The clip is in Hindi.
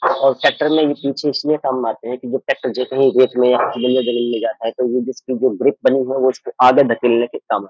और ट्रैक्टर में ये पीछे इसलिए काम आते हैं कि जब ट्रैक्टर जब कहीं रेट में जमीन में जाता है तो ये जिसकी जो ग्रिप बनी है वो इसको आगे धकेलने के काम --